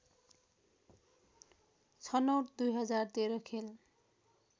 छनौट २०१३ खेल